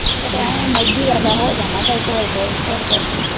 ਕਿਤੇ ਓ ਮਹਿੰਦੀ ਵਰਗਾ ਹੋ ਜਾਂਦਾ ਹੁੰਦਾ ਹੀ ਘੋਲ ਘੋਟ ਘੋਟ ਕੇ।